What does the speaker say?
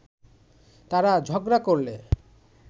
তারা ঝগড়া করলে